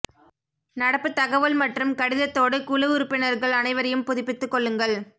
நடப்புத் தகவல் மற்றும் கடிதத்தோடு குழு உறுப்பினர்கள் அனைவரையும் புதுப்பித்துக் கொள்ளுங்கள்